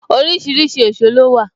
Orísìírísìí èsó ló wà